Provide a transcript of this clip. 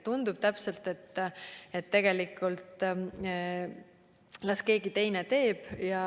Tundub täpselt nii, et tegelikult las keegi teine teeb.